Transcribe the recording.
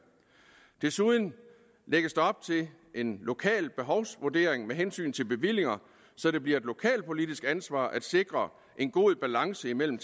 desuden lægges der op til en lokal behovsvurdering med hensyn til bevillinger så det bliver et lokalpolitisk ansvar at sikre en god balance imellem